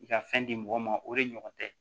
I ka fɛn di mɔgɔ ma o de ɲɔgɔn tɛ